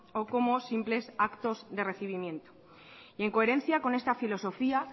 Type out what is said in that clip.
o como simples actos de recibimiento y en coherencia con esta filosofía